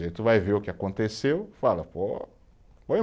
tu vai ver o que aconteceu e fala, pô, foi